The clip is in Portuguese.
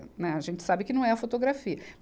Né, a gente sabe que não é a fotografia.